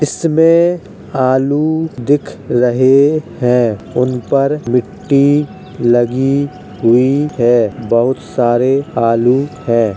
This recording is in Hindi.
इसमें आलू दिख रहे हैं उन पर मिट्टी लगी हुई है बहोत सारे आलू हैं।